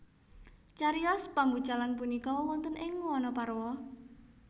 Cariyos pambucalan punika wonten ing Wanaparwa